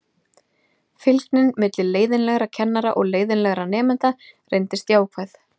Fylgnin milli leiðinlegra kennara og leiðinlegra nemenda reyndist jákvæð.